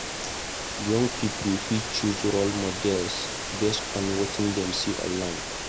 Young pipo fit choose role models based on wetin dem dey see online.